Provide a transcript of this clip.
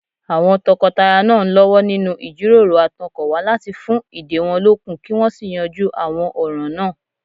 Àwọn tọkọtaya náà ń lọ́wọ́ nínú ìjíròrò àtọkànwá láti fún ìdè wọn lókun kí wọ́n sì yanjú àwọn ọ̀ràn náà